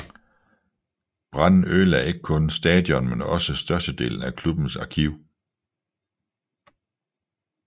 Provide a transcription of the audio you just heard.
Branden ødelage ikke kun stadion men også størstedelen af klubbens arkiv